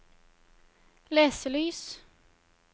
leselys